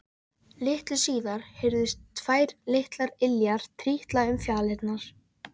Litlu síðar heyrðust tvær litlar iljar trítla um fjalirnar.